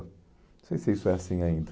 Não sei se isso é assim ainda.